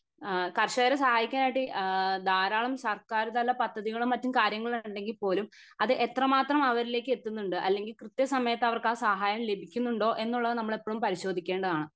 അഹ് കർഷകർ സഹായിക്കാനായിട്ട് ആഹ് ധാരാളം സർക്കാർ തല പദ്ധതികളും മറ്റും കാര്യങ്ങളും ഉണ്ടെങ്കി പോലും അത് എത്ര മാത്രം അവരിലേക്ക് എത്തുന്നുണ്ട് അല്ലെങ്കി കൃത്യ സമയത്ത് അവർക്ക് ആ സഹായം ലഭിക്കുന്നുണ്ടോ എന്നുള്ളത് നമ്മൾ എപ്പോളും പരിശോധിക്കേണ്ടതാണ്